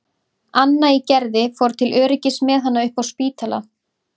Anna í Gerði fór til öryggis með hana upp á Spítala.